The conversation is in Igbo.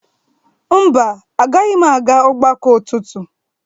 Mba, agaghị m aga ọgbakọ ụtụtụ